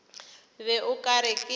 be o ka re ke